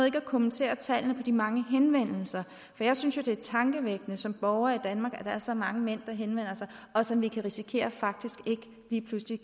ikke at kommentere tallene på de mange henvendelser jeg synes jo det er tankevækkende som borger i danmark at der er så mange mænd der henvender sig og som vi kan risikere faktisk lige pludselig